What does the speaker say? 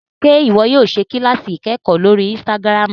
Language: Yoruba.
Ṣe iwọ yóò ṣe kilasi ikẹkọ lórí Instagram?